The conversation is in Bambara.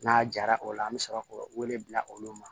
N'a jara o la an bi sɔrɔ k'o wele bila olu ma